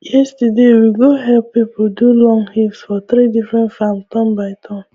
yesterday we go help people do long heaps for three different farms turn by turn